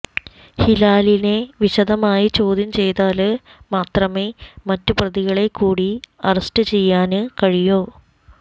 ഹിലാലിനെ വിശദമായി ചോദ്യംചെയ്താല് മാത്രമേ മറ്റു പ്രതികളെക്കൂടി അറസ്റ്റുചെയ്യാന് കഴിയൂ